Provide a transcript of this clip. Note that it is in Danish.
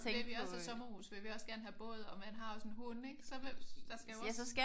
Vil vi også have sommerhus? Vil vi også gerne have båd? Og man har også en hund ik? Så vil der skal jo også